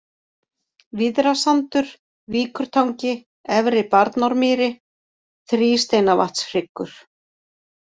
Víðrasandur, Víkurtangi, Efri-Barnármýri, Þrísteinavatnshryggur